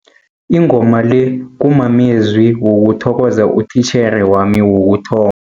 Ingoma le kumamezwi wokuthokoza utitjhere wami wokutho